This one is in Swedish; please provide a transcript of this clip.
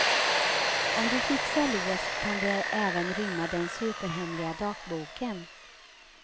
Om du fixar lås kan det även rymma den superhemliga dagboken.